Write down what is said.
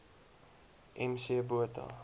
m c botha